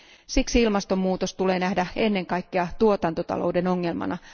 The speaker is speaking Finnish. Siksi ilmastomuutos on nähtävä ennen kaikkea tuotantotalouden ongelmana.